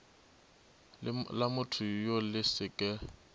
la mothoyoo le se ke